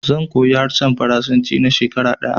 Zan koyi harshen faransanci na shekara ɗaya